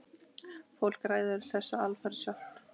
Fólk ræður þessu alfarið sjálft.